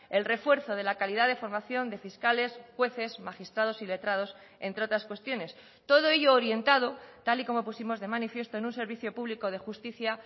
el refuerzo de la calidad de formación de fiscales jueces magistrados y letrados entre otras cuestiones todo ello orientado tal y como pusimos de manifiesto en un servicio público de justicia